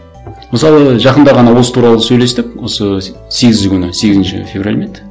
мысалы жақында ғана осы туралы сөйлестік осы сегізі күні сегізінші февраль ма еді